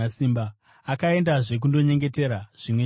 Akaendazve kundonyengetera zvimwe chetezvo.